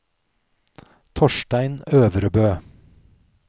Torstein Øvrebø